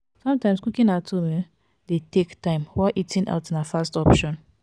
sometimes cooking at home um de take take time while eating out na fast option